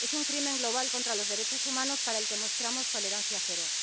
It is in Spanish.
Es un crimen global contra los derechos humanos, con el que mostramos tolerancia cero.